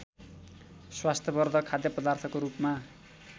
स्वास्थ्यवधर्क खाद्यपदार्थको रूपमा